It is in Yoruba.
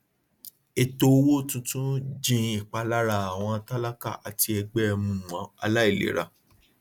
ètò owó tuntun jin ìpalára àwọn tálákà àti ẹgbẹ um aláìlera